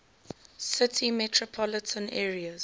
city metropolitan area